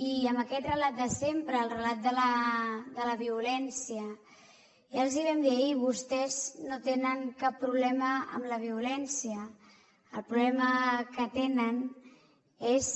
i amb aquest relat de sempre el relat de la violència ja els hi vam dir ahir vostès no tenen cap problema amb la violència el problema que tenen és